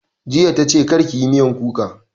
Jiya ta ce 'Kar ki yi miyar kuka'